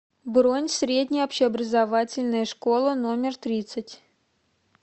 бронь средняя общеобразовательная школа номер тридцать